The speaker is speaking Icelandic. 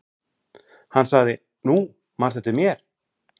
Hann sagði:-Nú, manstu eftir mér?